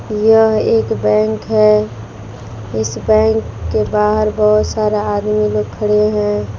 यह एक बैंक है इस बैंक के बाहर बहोत सारा आदमी लोग खड़े हैं।